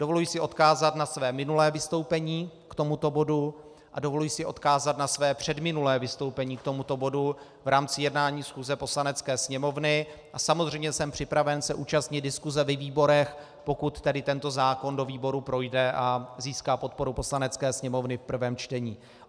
Dovoluji si odkázat na své minulé vystoupení k tomuto bodu a dovoluji si odkázat na své předminulé vystoupení k tomuto bodu v rámci jednání schůze Poslanecké sněmovny a samozřejmě jsem připraven se účastnit diskuse ve výborech, pokud tedy tento zákon do výborů projde a získá podporu Poslanecké sněmovny v prvém čtení.